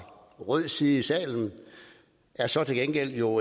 rød side i salen er så til gengæld jo